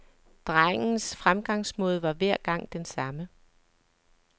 Drengens fremgangsmåde var hver gang den samme.